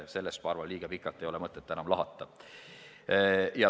Seda, ma arvan, ei ole mõtet enam liiga pikalt lahata.